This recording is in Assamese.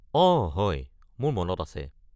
অঁ হয়, মোৰ মনত আছে।